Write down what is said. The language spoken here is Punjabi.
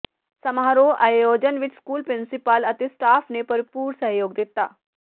ਸਮਾਰੋਹ ਆਯੋਜਨ ਵਿੱਚ ਸਕੂਲ ਪ੍ਰਿੰਸੀਪਲ ਅਤੇ ਸਟਾਫ਼ ਨੇ ਭਰਪੂਰ ਸਹਿਯੋਗ ਦਿੱਤਾ